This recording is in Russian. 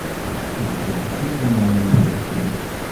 запусти кино лунная афера